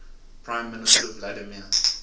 prime minister vladimir